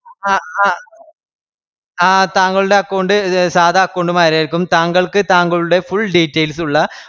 ആഹ് ആഹ് താങ്കളുടെ account സാധാ account മാരിയാരിക്കും. താങ്കൾക്ക് താങ്കളുടെ full details ഉള്ള